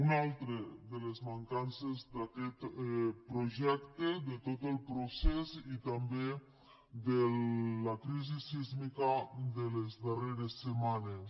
una altra de les mancances d’aquest projecte de tot el procés i també de la crisi sísmica de les darreres setmanes